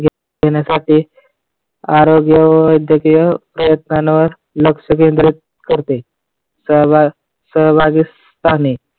घेण्यासाठी आरोग्य व वैद्यकीय प्रयत्नांवर लक्ष केंद्रित करते. सहभाग सहभाग सहभागी स्थानी